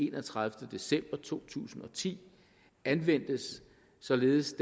enogtredivete december to tusind og ti anvendtes således